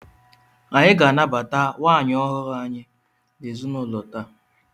Anyị ga-anabata nwaanyị ọhụrụ anyị n'ezinụlọ taa!